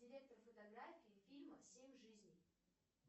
директор фотаграфий фильмов семь жизней